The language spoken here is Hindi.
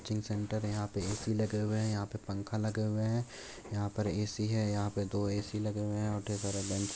कोचिंग सेण्टर यहां पे है एसी लगे हुए है यहाँ पे पंखा लगे हुए है यहाँ पे एसी है यहाँ पे दो एसी लगे हुए है। और ढेर सारा बेंच --